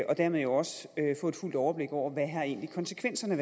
og dermed jo også få et fuldt overblik over hvad konsekvenserne